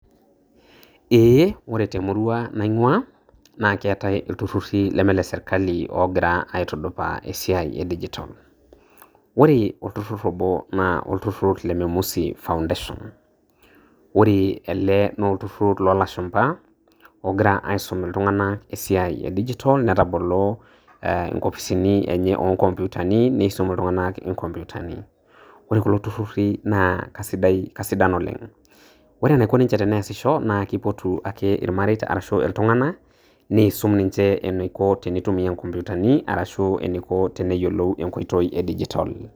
Eeh, kore te murua naing'ua naa keetai iltururi leme le serikali og'ira aitudupaa esiai e digitol. Ore olturur obo naa olturur le Memusi Foundation, ore ele naa olturur loo lashumba og'ira aisum iltung'ana esiai e digitol na ketabolo inkopisini enye oonkompyutani neisum iltung'ana inkopyutani, ore kulo tururi naa kaisidan oleng', ore eneiko ninye pee easisho naa keipotu ake iltung'ana neisum ninche eneiko pee eitumia inkopyutani arashu eneiko teneyiolou enkoitoi e digitol.